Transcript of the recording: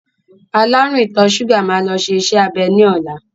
Alárùn ìtọ̀ ṣúgà máa lọ ṣe iṣẹ́-abẹ ní ọ̀la.